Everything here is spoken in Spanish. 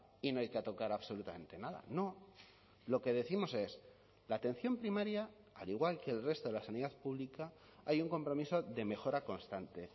y no hay que tocar absolutamente nada no lo que décimos es la atención primaria al igual que el resto de la sanidad pública hay un compromiso de mejora constante